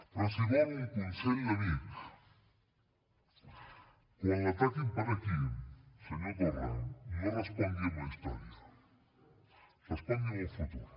però si vol un consell d’amic quan l’ataquin per aquí senyor torra no respongui amb la història respongui amb el futur